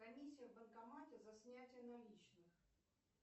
комиссия в банкомате за снятие наличных